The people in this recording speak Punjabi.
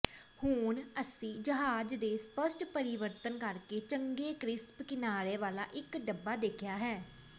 ਹੁਣ ਅਸੀਂ ਜਹਾਜ਼ ਦੇ ਸਪੱਸ਼ਟ ਪਰਿਵਰਤਨ ਕਰਕੇ ਚੰਗੇ ਕਰਿਸਪ ਕਿਨਾਰੇ ਵਾਲਾ ਇੱਕ ਡੱਬਾ ਦੇਖਿਆ ਹੈ